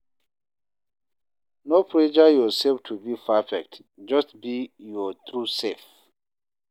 No pressure yourself to be perfect, just be your true self.